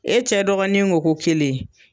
E cɛ dɔgɔnin ko ko kelen